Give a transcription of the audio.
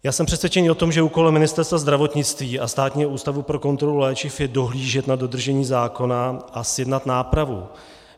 Já jsem přesvědčený o tom, že úkolem Ministerstva zdravotnictví a Státního ústavu pro kontrolu léčiv je dohlížet na dodržení zákona a zjednat nápravu.